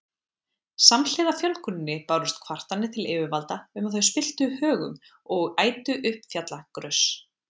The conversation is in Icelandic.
Samhliða fjölguninni bárust kvartanir til yfirvalda um að þau spilltu högum og ætu upp fjallagrös.